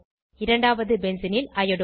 இரண்டாவது பென்சீனில் ஐயோடோ